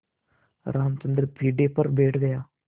रामचंद्र पीढ़े पर बैठ गया